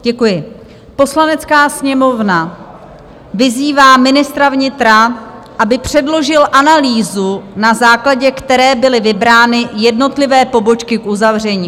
Poslanecká sněmovna vyzývá ministra vnitra, aby předložil analýzu, na základě které byly vybrány jednotlivé pobočky k uzavření.